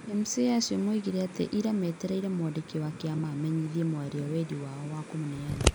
MCA acio moigire atĩ ira maretereire mwandĩki wa kĩama amenyithie mwaria wendi wao wa kũmũneana.